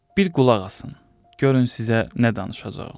Bir qulaq asın, görün sizə nə danışacağam.